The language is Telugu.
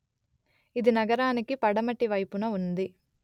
ఇది నగరానికి పడమటి వైపున ఉంది